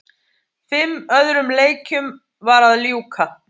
Fimm öðrum leikjum var að ljúka